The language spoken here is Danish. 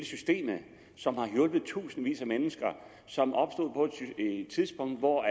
systemet som har hjulpet tusindvis af mennesker og som opstod på et tidspunkt hvor